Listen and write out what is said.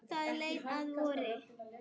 Það leið að vori.